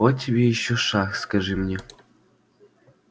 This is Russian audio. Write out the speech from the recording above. вот тебе ещё шах скажи мне